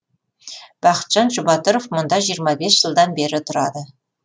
бақытжан жұбатыров мұнда жиырма бес жылдан бері тұрады